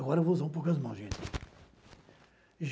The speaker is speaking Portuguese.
Agora eu vou usar um pouco as mãos, gente.